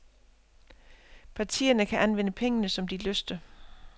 Partierne kan anvende pengene, som de lyster.